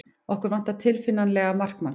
Okkur vantar tilfinnanlega markmann.